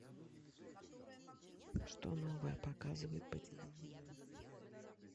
что новое показывают по телевизору